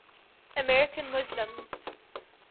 american muslims